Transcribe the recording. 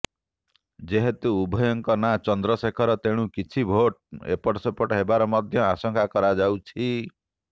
ଯେହେତୁ ଉଭୟଙ୍କ ନାଁ ଚନ୍ଦ୍ରଶେଖର ତେଣୁ କିଛି ଭୋଟ୍ ଏପଟସେପଟ ହେବାର ମଧ୍ୟ ଆଶଙ୍କା କରାଯାଉଛି